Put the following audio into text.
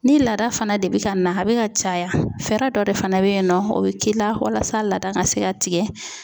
Ni laada fana de bi ka na a bɛ ka caya fɛɛrɛ dɔ de fana be yen nɔ o bɛ k'i la walasa laada ka se ka tigɛ.